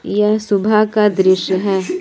यह सुबह का दृश्य है।